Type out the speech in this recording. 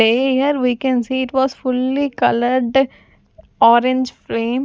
here we can see it was fully colored orange frame.